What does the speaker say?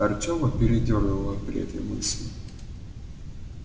артема передёрнуло при этой мысли